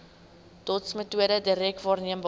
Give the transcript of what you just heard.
dotsmetode direk waarneembare